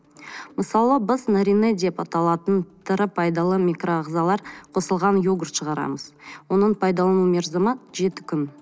мысалы біз нарине деп аталатын тірі пайдалы микроағзалар қосылған йогурт шығарамыз оның пайдалану мерзімі жеті күн